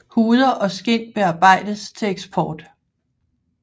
Huder og skind bearbejdes til eksport